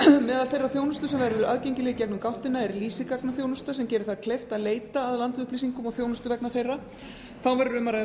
meðal þeirrar þjónustu sem verður aðgengileg í gegnum gáttina er lítil gagnaþjónusta sem gerir það kleift að leita að landupplýsingum og þjónustu vegna þeirra þá verður um